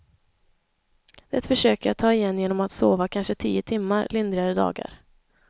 Det försöker jag ta igen genom att sova kanske tio timmar lindrigare dagar.